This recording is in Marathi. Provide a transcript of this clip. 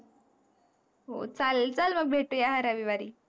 हो चालेल, चल मग भेटू या रविवारी.